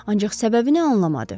Ancaq səbəbini anlamadı.